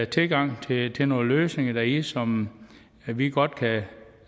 tilgang til nogle løsninger i det som vi godt